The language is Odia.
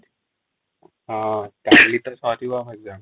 ହଁ କଲି ତ ସରିବା ଏଗଜାମ